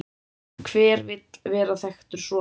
En hver vill vera þekktur svona?